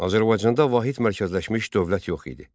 Azərbaycanda vahid mərkəzləşmiş dövlət yox idi.